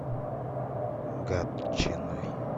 гатчиной